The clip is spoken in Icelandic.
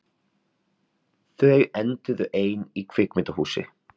Þau enduðu ein í kvikmyndahúsi